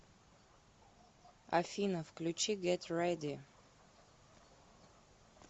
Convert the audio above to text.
афина включи гет рэди